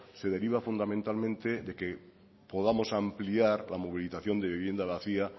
se deriva fundamentalmente de que podamos ampliar la movilización de vivienda vacía